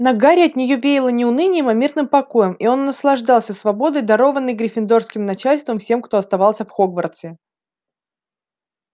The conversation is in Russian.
на гарри от неё веяло не унынием а мирным покоем и он наслаждался свободой дарованной гриффиндорским начальством всем кто остался в хогвартсе